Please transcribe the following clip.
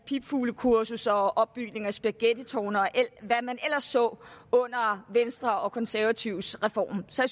pipfuglekurser og opbygning af spaghettitårne og hvad man ellers så under venstre og konservatives reform så